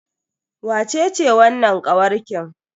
Wacece wannan kawarkin?